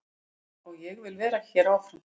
Og ég vil vera hér áfram.